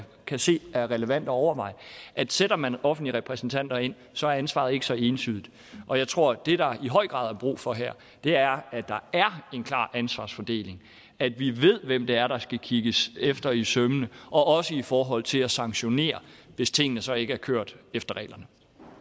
kan se er relevant at overveje at sætter man offentlige repræsentanter ind så er ansvaret ikke så entydigt og jeg tror at det der i høj grad er brug for her er at der er en klar ansvarsfordeling at vi ved hvem det er der skal kigges efter i sømmene også i forhold til at sanktionere hvis tingene så ikke har kørt efter reglerne